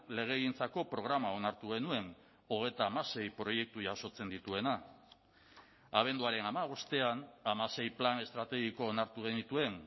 legegintzako programa onartu genuen hogeita hamasei proiektu jasotzen dituena abenduaren hamabostean hamasei plan estrategiko onartu genituen